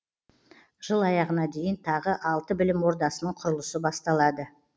жыл аяғына дейін тағы алты білім ордасының құрылысы басталады